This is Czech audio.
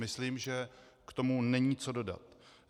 Myslím, že k tomu není co dodat.